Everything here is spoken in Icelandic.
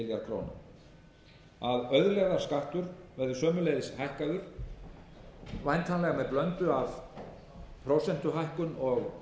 það gefi um einn milljarð króna auðlegðarskattur verður sömuleiðis hækkaður væntanlega með blöndu af prósentuhækkun og